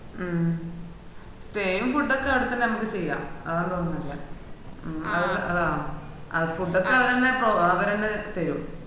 മ്മ് stay യും food ഒക്കെ ആടത്തന്നെ അമ്മക്ക് ചെയ്യാ അതാന്നു തോന്നു നല്ലേ മ്മ് അതാ food ഒക്കെ അവരെന്നെ പ്രൊ അവരെന്നെ ചെയ്യും